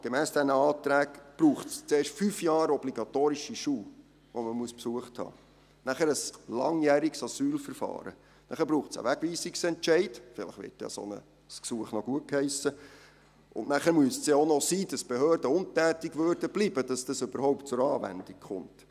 Gemäss diesen Anträgen braucht es zuerst fünf Jahre obligatorischen Schulbesuch, und nachher ein langjähriges Asylverfahren, einen Wegweisungsentscheid, und dann müsste es auch noch sein, dass die Behörden untätig blieben, damit dies überhaupt zur Anwendung kommt.